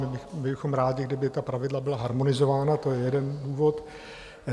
My bychom rádi, kdyby ta pravidla byla harmonizována, to je jeden důvod.